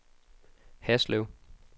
Haslev